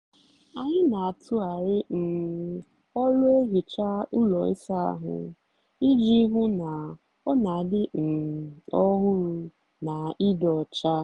anyị n'atughari um ọlụ ehicha ụlọ ịsa ahụ iji hụ na ọ n'adị um ọhụrụ na ịdị ọcha.